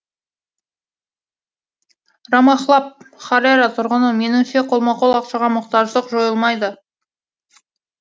рамахлаб хараре тұрғыны меніңше қолма қол ақшаға мұқтаждық жойылмайды